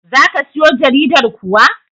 Za ka siyo jaridar kuwa?